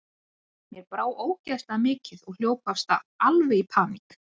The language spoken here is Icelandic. Mér brá ógeðslega mikið og hljóp af stað, alveg í paník.